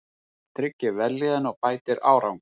Það tryggir vellíðan og bætir árangur.